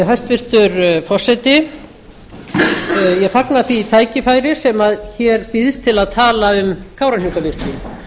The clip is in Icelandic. hæstvirtur forseti ég fagna því tækifæri sem hér býðst til að tala um kárahnjúkavirkjun